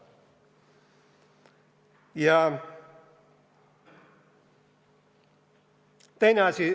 Ja teine asi.